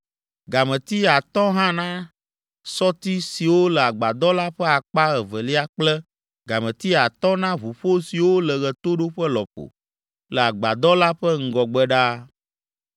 gameti atɔ̃ hã na sɔti siwo le agbadɔ la ƒe akpa evelia kple gameti atɔ̃ na ʋuƒo siwo le ɣetoɖoƒe lɔƒo le agbadɔ la ƒe ŋgɔgbe ɖaa.